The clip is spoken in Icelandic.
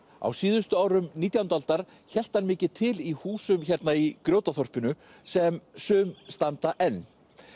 á síðustu árum nítjándu aldar hélt hann mikið til í húsum hérna í Grjótaþorpinu sem sum standa enn